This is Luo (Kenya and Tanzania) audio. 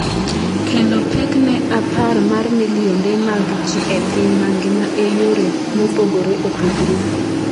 kelo pek ne apar mar milionde mag jii e piny mangima e yore mopogore opogore